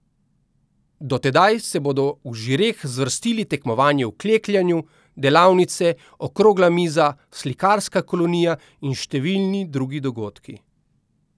Do tedaj se bodo v Žireh zvrstili tekmovanje v klekljanju, delavnice, okrogla miza, slikarska kolonija in številni drugi dogodki.